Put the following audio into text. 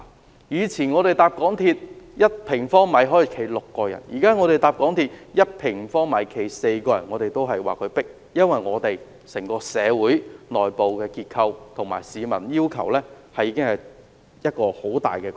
港鐵公司以往的載客標準是每平方米站立6人，現時的標準是每平方米站立4人，但我們仍說十分擠迫，因為整個社會的內部結構及市民的要求已經有很大改變。